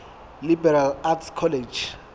liberal arts college